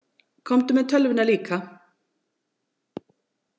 Komdu með tölvuna líka.